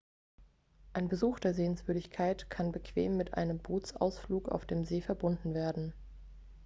ein besuch der sehenswürdigkeit kann bequem mit einem bootsausflug auf dem see verbunden werden